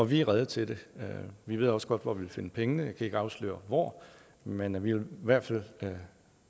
vi er rede til det vi ved også godt hvor vi vil finde pengene jeg kan ikke afsløre hvor men vi vil i hvert fald